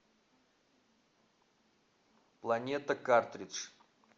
планета картридж